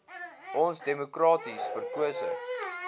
ons demokraties verkose